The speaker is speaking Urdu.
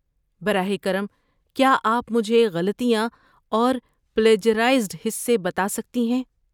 براہ کرم کیا آپ مجھے غلطیاں اور پلیجرائزڈ حصے بتا سکتی ہیں؟